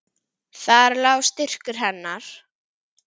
Þar lá styrkur hennar.